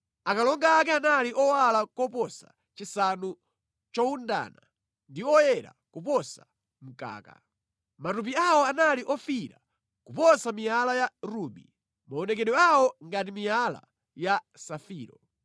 Akalonga ake anali owala koposa chisanu chowundana ndi oyera kuposa mkaka. Matupi awo anali ofiira kuposa miyala ya rubi, maonekedwe awo ngati miyala ya safiro.